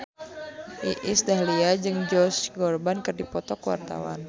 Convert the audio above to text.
Iis Dahlia jeung Josh Groban keur dipoto ku wartawan